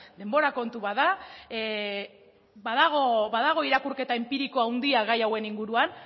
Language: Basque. denbora kontu bat da badago irakurketa enpiriko handia gai hauen inguruan